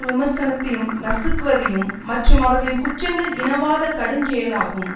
விமர்சனத்தையும் நசுக்குவதையும் மற்றும் அவர்களின் குற்றங்கள் இனவாத கடுஞ்செயளாகும்